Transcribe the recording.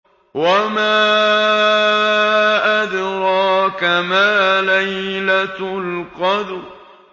وَمَا أَدْرَاكَ مَا لَيْلَةُ الْقَدْرِ